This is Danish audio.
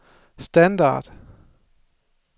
standard